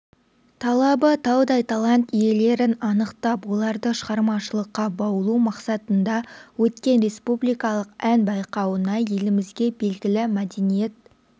талабы таудай талант иелерін анықтап оларды шығармашылыққа баулу мақсатында өткен республикалық ән байқауына елімізге белгілі мәдениет